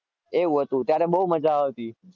એવું હતું ત્યારે બો મજ્જા આવતી